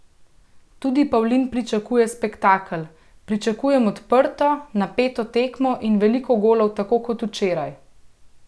Tudi Pavlin pričakuje spektakel: "Pričakujem odprto, napeto tekmo in veliko golov tako kot včeraj.